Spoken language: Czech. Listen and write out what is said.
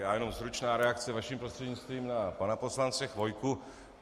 Já jenom stručnou reakci, vaším prostřednictvím, na pana poslance Chvojku.